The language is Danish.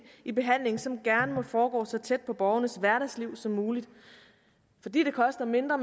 i behandlingen som gerne må foregå så tæt på borgernes hverdagsliv som muligt fordi det koster mindre